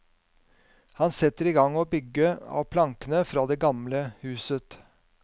Han setter i gang å bygge av plankene fra det gamle huset.